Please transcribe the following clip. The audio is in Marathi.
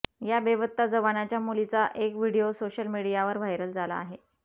या बेपत्ता जवानाच्या मुलीचा एक व्हिडिओ सोशल मीडियावर व्हायरल झाला आहे